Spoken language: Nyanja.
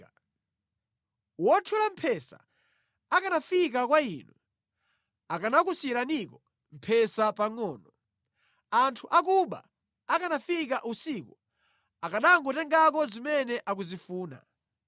Kodi anthu othyola mphesa akanafika kwa inu akanakusiyiraniko mphesa pangʼono pokha? Anthu akuba akanafika usiku akanangotengako zimene akuzifuna zokha?